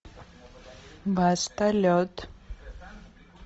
баста лед